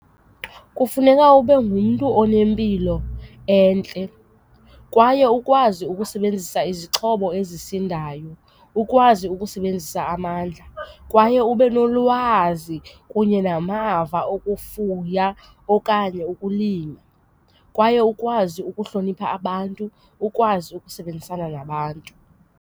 Kufuneka ube ngumntu onempilo entle kwaye ukwazi ukusebenzisa izixhobo ezisindayo. Ukwazi ukusebenzisa amandla kwaye ube nolwazi kunye namava okufuya okanye ukulima kwaye ukwazi ukuhlonipha abantu ukwazi ukusebenzisana nabantu.